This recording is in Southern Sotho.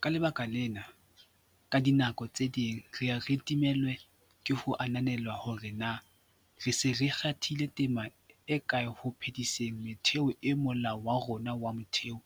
Ka lebaka lena, ka dinako tse ding re ye re timellwe ke ho ananela hore na re se re kgathile tema e kae ho phe-diseng metheo eo Molao wa rona wa Motheo